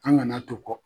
An kana to kɔ